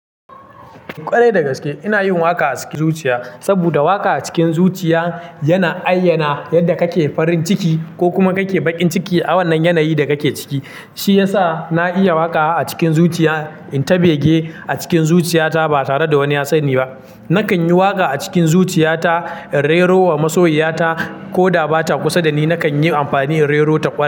Kwarai dagaske, ina yin waƙa a cikin zuciya, saboda waƙa a cikin zuciya yana ayyana yadda kake farin ciki ko kuma kake bakin ciki a wannan yanayin da kake ciki. Shi ya sa na iya waƙa a cikin zuciya, in ta bege a cikin zuciyata ba tare da wani ya sani ba. Nakan yi waƙa a cikin zuciyata, in rero wa masoyiyata, ko da ba ta kusa da ni. Nakan yi amfani in rerota kwa.